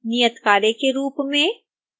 नियत कार्य के रूप में